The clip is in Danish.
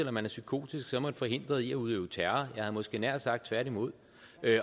at man er psykotisk så er man forhindret i at udøve terror jeg havde måske nær sagt tværtimod